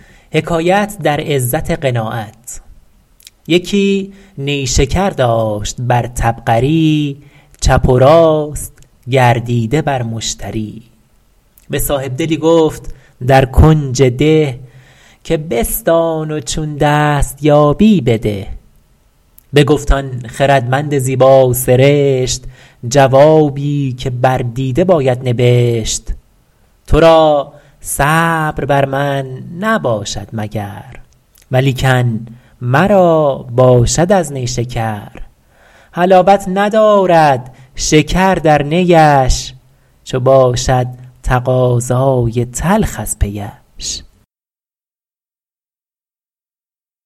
یکی نیشکر داشت بر طبقری چپ و راست گردیده بر مشتری به صاحبدلی گفت در کنج ده که بستان و چون دست یابی بده بگفت آن خردمند زیبا سرشت جوابی که بر دیده باید نبشت تو را صبر بر من نباشد مگر ولیکن مرا باشد از نیشکر حلاوت ندارد شکر در نیش چو باشد تقاضای تلخ از پیش